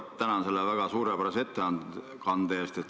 Tänan selle väga suurepärase ettekande eest!